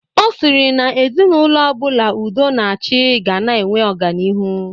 Ọ sịrị na ezinaụlọ ọbụla udo na achị ga na-enwe ọganihu